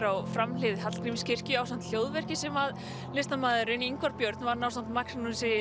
á framhlið Hallgrímskirkju ásamt hljóðverki sem listamaðurinn Ingvar Björn vann ásamt Magnúsi